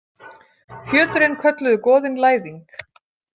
Fjöturinn kölluðu goðin Læðing.